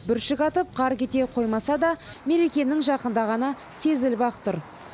бүршік атып қар кете қоймаса да мерекенің жақындағаны сезіліп ақ тұр